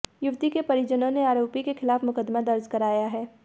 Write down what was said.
युवती के परिजनों ने आरोपी के खिलाफ मुकदमा दर्ज कराया है